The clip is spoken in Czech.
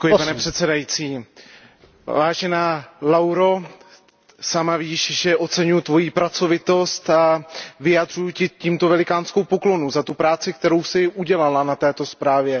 Vážený pane předsedající, vážená Lauro, sama víš, že oceňuji Tvoji pracovitost a vyjadřuji Ti tímto velikánskou poklonu za tu práci, kterou jsi udělala na této zprávě.